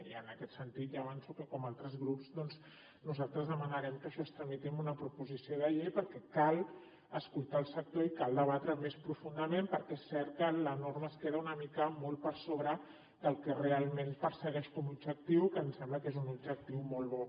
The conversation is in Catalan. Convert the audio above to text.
i en aquest sentit ja avanço que com altres grups doncs nosaltres demanarem que això es tramiti amb una proposició de llei perquè cal escoltar el sector i cal debatre més profundament perquè és cert que la norma es queda una mica molt per sobre del que realment persegueix com a objectiu que em sembla que és un objectiu molt bo